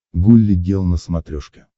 гулли гел на смотрешке